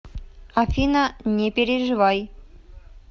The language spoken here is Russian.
афина не переживай